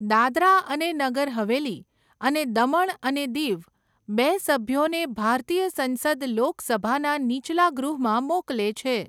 દાદરા અને નગર હવેલી અને દમણ અને દીવ બે સભ્યોને ભારતીય સંસદ લોકસભાના નીચલા ગૃહમાં મોકલે છે.